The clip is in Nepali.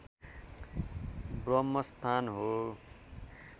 ब्रम्हस्थान हो